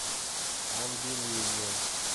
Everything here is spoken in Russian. ангелине